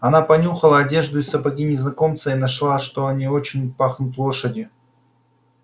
она понюхала одежду и сапоги незнакомца и нашла что они очень пахнут лошадью